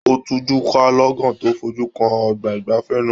O tujuka lọ́gán to fojú kan ọgbà igbafẹ̀ náà.